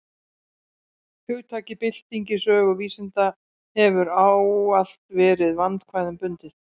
Hugtakið bylting í sögu vísinda hefur ávallt verið vandkvæðum bundið.